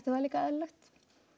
það líka eðlilegt